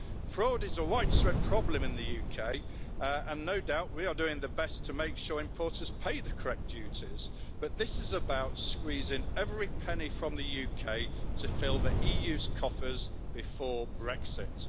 Fraud is a widespread problem in the UK, and no doubt we are doing our best to make sure importers pay the correct duties, but this is about squeezing every penny from the UK to fill the EU's coffers before Brexit.